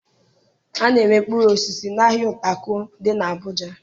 A na-ere mkpụrụ osisi n'ahịa Utako dị n'Abuja